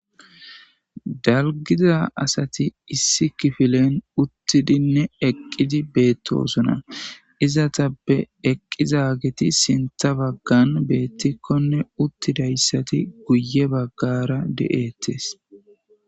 Dalggida asati issi kifilen uttidinne eqqidi beetosona. Izetappe eqqidaageti sinththa baggan beettikonne uttidayssati guye baggara de'ettes.